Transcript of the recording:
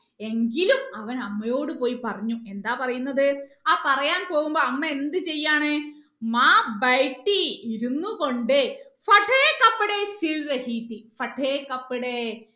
എങ്കിലും അവൻ അമ്മയോട് പോയി പറഞ്ഞു എന്താ പറയുന്നത് ആ പറയാൻ പോവുമ്പോൾ അമ്മ എന്ത് ചെയ്യാണ് ഇരുന്ന് കൊണ്ട്